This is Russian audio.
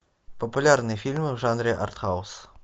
популярные фильмы в жанре артхаус